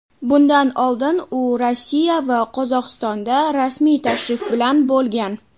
Bundan oldin u Rossiya va Qozog‘istonda rasmiy tashrif bilan bo‘lgan.